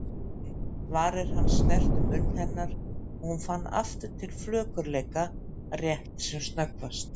Varir hans snertu munn hennar og hún fann aftur til flökurleika, rétt sem snöggvast.